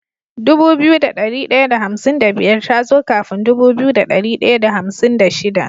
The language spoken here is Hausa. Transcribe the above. Dubu biyu da dari daya da hamsin da biyar tazo kafin Dubu biyu da dari daya da hamsin da shida